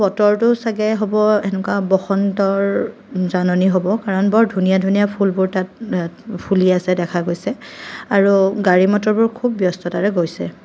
বতৰটো চাগে হ'ব হেনেকুৱা বসন্তৰ জাননী হ'ব কাৰণ বৰ ধুনীয়া ধুনীয়া ফুলবোৰ তাত অ ফুলি আছে দেখা গৈছে আৰু গাড়ী মটৰবোৰ খুব ব্যস্ততাৰে গৈছে।